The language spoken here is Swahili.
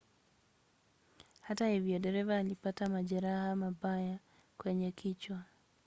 hata hivyo dereva alipata majeraha mabaya kwenye kichwa